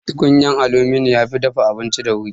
Tukunyan aluminum yafi dafa abinci da wuri